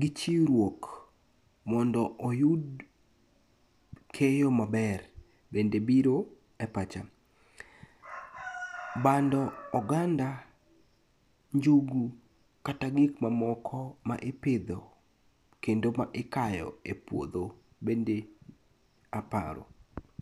gi chiwruok mondo oyud keyo maber bende biro e pacha. Bando, oganda, njugu kata gikmamoko ma ipidho kendo ma ikayo e puodho bende aparo.